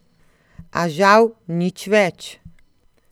A žal nič več.